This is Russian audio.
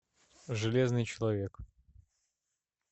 железный человек